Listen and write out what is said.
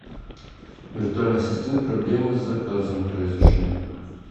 виртуальный ассистент проблемы с заказом произошли